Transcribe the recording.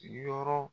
Yɔrɔ